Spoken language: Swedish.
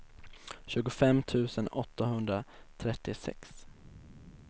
tjugofem tusen åttahundratrettiosex